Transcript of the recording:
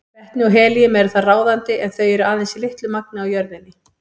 Vetni og helíum eru þar ráðandi en þau eru aðeins í litlu magni á jörðinni.